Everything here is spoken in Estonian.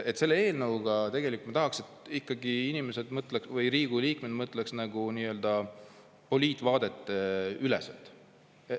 Selle eelnõuga ma tahaks ikkagi, et Riigikogu liikmed mõtleksid nii-öelda poliitvaadeteüleselt.